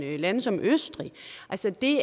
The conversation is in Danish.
af lande som østrig altså det